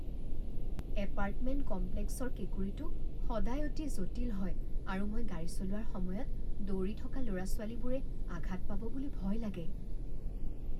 Apartment কমপ্লেক্সৰ কেঁকুৰিটো সদায় অতি জটিল হয় আৰু মই গাড়ী চলোৱাৰ সময়ত দৌৰি থকা ল'ৰা ছোৱালীবোৰে আঘাত পাব বুলি ভয় লাগে।